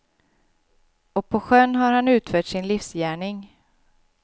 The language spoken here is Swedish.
Och på sjön har han utfört sin livsgärning.